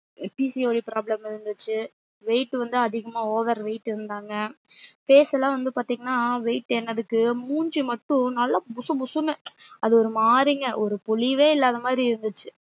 PCODproblem வந்திருச்சி weight வந்து அதிகமா over weight இருந்தாங்க face லா வந்து பாத்திங்கன்னா weight ஏறனதுக்கு மூஞ்சி மட்டும் நல்லா புசுபுசுன்னு அது ஒரு மாறிங்க ஒரு பொலிவே இல்லாத மாறி இருந்துச்சு